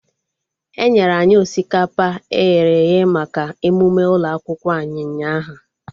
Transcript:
Enyere anyị osikapa eghere eghe maka emụme ụlọ akwụkwọ anyị ụnyaahụ